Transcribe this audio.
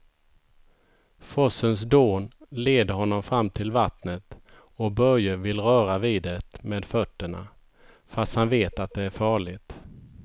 Forsens dån leder honom fram till vattnet och Börje vill röra vid det med fötterna, fast han vet att det är farligt.